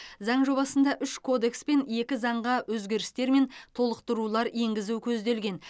заң жобасында үш кодекс пен екі заңға өзгерістер мен толықтырулар енгізу көзделген